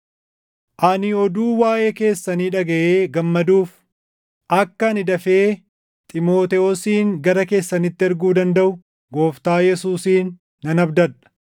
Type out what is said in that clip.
Ani oduu waaʼee keessanii dhagaʼee gammaduuf, akka ani dafee Xiimotewosin gara keessanitti erguu dandaʼu Gooftaa Yesuusin nan abdadha.